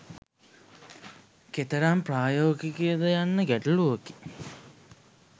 කෙතරම් ප්‍රායෝගික ද යන්න ගැටලුවකි.